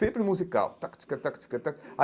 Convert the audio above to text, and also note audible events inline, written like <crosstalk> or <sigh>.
Sempre musical. <unintelligible>